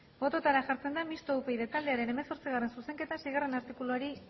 bototara jartzen da mistoa upyd taldearen hemezortzigarrena zuzenketa seigarrena artikuluari